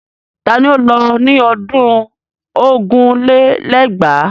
Ta ni ó lọ ní ọdún ogún lé lẹ́gbàá?